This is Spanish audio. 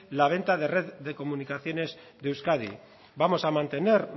la venta de red de comunicaciones de euskadi vamos a mantener